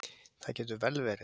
Það getur vel verið.